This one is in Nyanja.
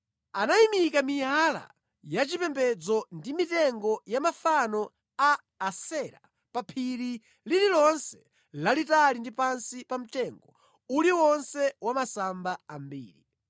Anayimika miyala ya chipembedzo ndi mitengo ya mafano a Asera pa phiri lililonse lalitali ndi pansi pa mtengo uliwonse wa masamba ambiri.